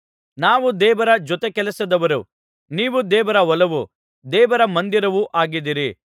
ನಾವು ದೇವರ ಜೊತೆಕೆಲಸದವರು ನೀವು ದೇವರ ಹೊಲವೂ ದೇವರ ಮಂದಿರವೂ ಆಗಿದ್ದೀರಿ